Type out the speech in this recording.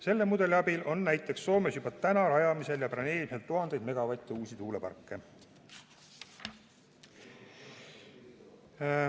Selle mudeli abil on näiteks Soomes juba rajamisel ja planeerimisel tuhandeid megavatte uusi tuuleparke.